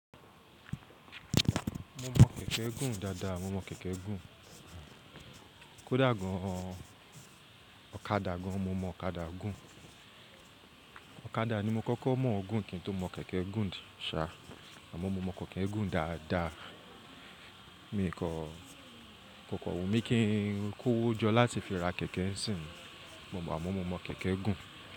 Mo mọ kẹ̀kẹ́ gùn dáadáa, mo mọ kẹ̀kẹ́ gùn. Kódà gan, ọ̀kadà gan, mo mọ ọ̀kadà gùn. Ọ̀kadà ni mo kọ́kọ́ mọ̀ gùn kí n tó mọ kẹ̀kẹ́ gùn ṣá, àmọ́ mo mọ kẹ̀kẹ́ gùn dáadáa. Mi kò kọ kan wù mí kí n kówójọ láti fi ra kẹ̀kẹ́ sí n, àmọ́ mo mọ kẹ̀kẹ́ gùn.